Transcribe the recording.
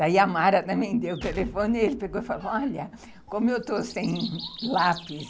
Daí a Mara também deu o telefone e ele falou, olha, como eu estou sem lápis,